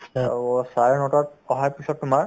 আৰু চাৰে নটাত অহাৰ পিছত তোমাৰ